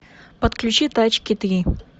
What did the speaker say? подключи тачки три